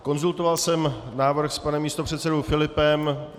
Konzultoval jsem návrh s panem místopředsedou Filipem.